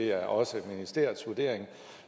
at det også er ministeriets vurdering